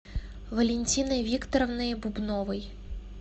валентиной викторовной бубновой